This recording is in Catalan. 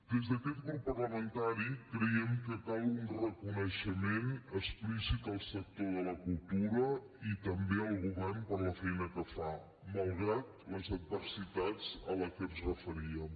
des d’aquest grup parlamentari creiem que cal un reconeixement explícit al sector de la cultura i també al govern per la feina que fa malgrat les adversitats a les quals ens referíem